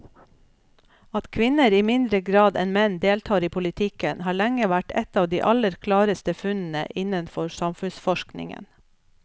At kvinner i mindre grad enn menn deltar i politikken har lenge vært et av de aller klareste funnene innenfor samfunnsforskningen.